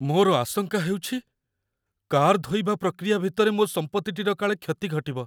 ମୋର ଆଶଙ୍କା ହେଉଛି, କାର୍ ଧୋଇବା ପ୍ରକ୍ରିୟା ଭିତରେ ମୋ ସମ୍ପତ୍ତିଟିର କାଳେ କ୍ଷତି ଘଟିବ।